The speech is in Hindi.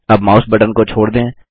अब माउस बटन को छोड़ दें